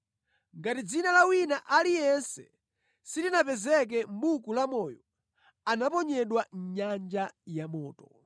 Ngati dzina la wina aliyense silinapezeke mʼBuku Lamoyo, anaponyedwa mʼnyanja yamoto.